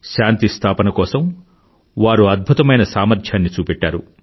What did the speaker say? శాంతి స్థాపన కోసం వారు అద్భుతమైన సామర్ధ్యాన్ని చూపెట్టారు